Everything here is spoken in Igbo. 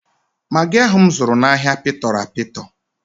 Magị ahụ m zụrụ n'ahịa pịtọrọ apịtọ.